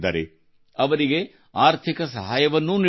ಅವರಿಗೆ ಆರ್ಥಿಕ ಸಹಾಯವನ್ನೂ ನೀಡುತ್ತಿದ್ದಾರೆ